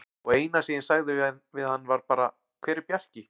Og eina sem ég sagði við hann var bara: Hver er Bjarki?